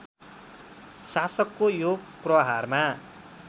शासकको यो प्रहारमा